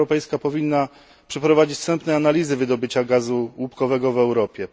Unia Europejska powinna przeprowadzić wstępne analizy wydobycia gazu łupkowego w Europie.